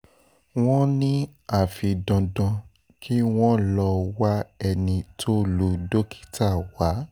wọ́n ní àfi dandan kí wọ́n lọ wá ẹni tó lu dókítà wá